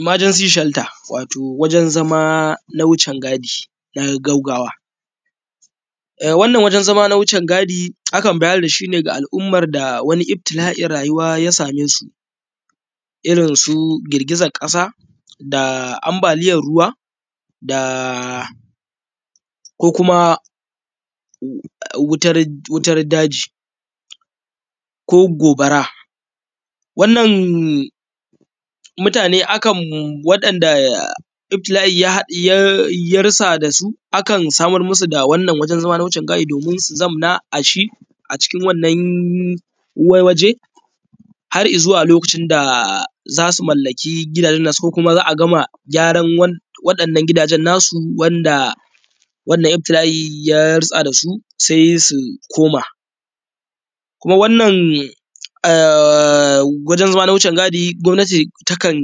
Imajansi shalta wato wajen zama na wucin gadi na gawgawa. Wannan wajen zama na wucin gadi akan bayar dashi ne ga al’umman da wani lftila’in rayuwa ya same su.iron su girgizan ƙasa da ambaliyar ruwa da ko kuma wutar daji ko gobara. Wannan mutane akam, wa’inda ifila’ ya ha, ya rusa dasu akan samar musu da wannan wajen zama na wucin gadi domin su zamna ashi a cikin wannan waje har izuwa lokacin da za su mallaki gidajen nasu ko kuma za a gama gyaran waɗannan gidajen nasu wanɗa wannan iftila’i ya rutsa da su sai su koma. Kuma wannan aaa wajen zama na wucin gadi gomnati takan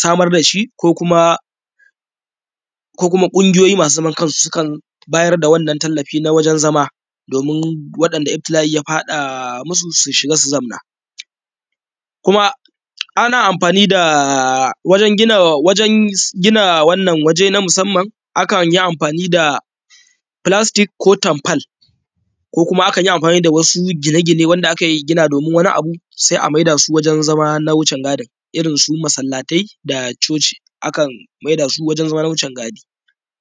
samar dashi ko kuma ko kuma ƙungiyoyi masu zaman kansu sukan bayar da wannan tallafi na wajen zama domin waɗanda iftila’i su shiga su zamna, kuma ana amfani daaa wajen gina wajen gina wannan waje na musamman akanyi amfani da falastik ko tamfal ko kuma akanyi amfani da wasu gine gine wanda aka gina domin wani abu sai a maidasu wajen zama na wucin gadin irin su masallatai da coci akan maida su wajen zama na wucin gadi.